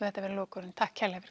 þetta verða lokaorðin takk kærlega